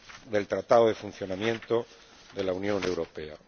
del Tratado de Funcionamiento de la Unión Europea.